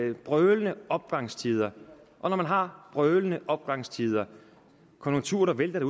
jo brølende opgangstider og når man har brølende opgangstider konjunkturer der vælter